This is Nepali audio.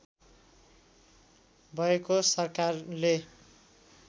भएको सरकारले